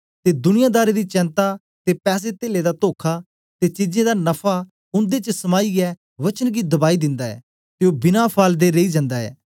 ते दुनियादारी दी चैनता ते पैसे तेले दा तोखा ते चीजें दा नफा उन्दे च समाईयै वचन गी दबाई दिंदा ऐ ते ओ बिना फल दे रेई जन्दा ऐ